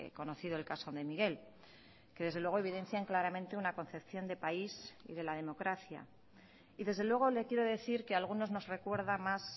conocido el caso de miguel que desde luego evidencian claramente una concepción de país y de la democracia y desde luego le quiero decir que a algunos nos recuerda más